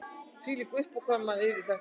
Hvílík uppákoma yrði þetta